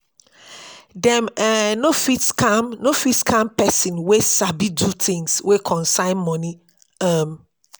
dem um no fit scam no fit scam pesin wey sabi do things wey concern moni um